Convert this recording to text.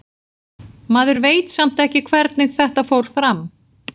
Maður veit samt ekki hvernig þetta fór fram.